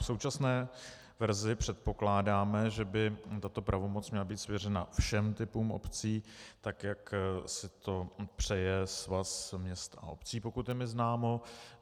V současné verzi předpokládáme, že by tato pravomoc měla být svěřena všem typům obcí tak, jak si to přeje Svaz měst a obcí, pokud je mi známo.